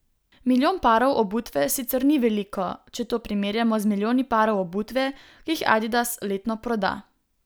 Milijon parov obutve sicer ni veliko, če to primerjamo z milijoni parov obutve, ki jih Adidas letno proda.